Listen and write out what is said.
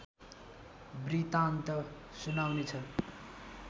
वृत्तान्त सुनाउनेछ